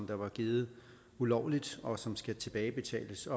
der var givet ulovligt og som skal tilbagebetales